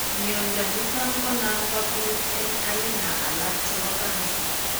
Mnyondo niton ko nan kobit en aina alak chebo cancer